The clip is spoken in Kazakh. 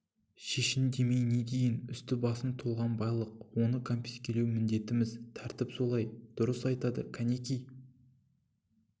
шешін демей не дейін үсті-басың толған байлық оны кәмпескелеу міндетіміз тәртіп солай дүрыс айтады кәнеки